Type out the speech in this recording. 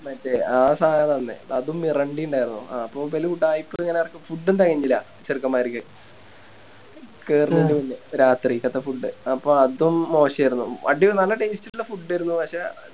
മറ്റേ ആ സനല്ലേ അതും Miranda ഇണ്ടാരുന്നു ആ അപ്പൊ ഇവല് ഉഡായിപ്പുകള് Food ഉം തെകഞ്ഞില്ല ചെറുക്കൻമാരിക്ക് കേറ്ണെൻറെ മുന്നേ രാത്രിക്കാതെ Food അപ്പൊ അതും മോശായിരുന്നു അത് നല്ല Taste ഇള്ള Food ആയിരുന്നു